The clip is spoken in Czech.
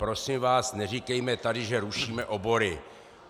Prosím vás, neříkejme tady, že rušíme obory.